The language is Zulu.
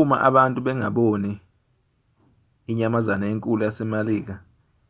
uma abantu bangaboni inyamazane enkulu yasemelika